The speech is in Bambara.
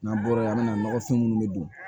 N'an bɔra yen an mɛna nɔgɔfin minnu bɛ don